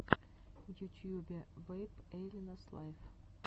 в ютьюбе вэйп эйлианс лайв